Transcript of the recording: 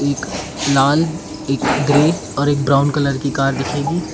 एक लाल एक ग्रे और एक ब्राऊन कलर की कार दिखेगी।